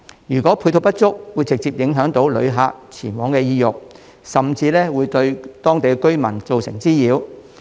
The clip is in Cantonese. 如果配套設施不足，會直接影響旅客前往的意欲，甚至會對當地居民造成滋擾。